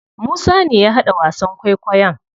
Musa ne ya haɗa wasan kwaikwayon.